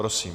Prosím.